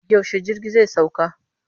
Yaushe jirgi zai sauka?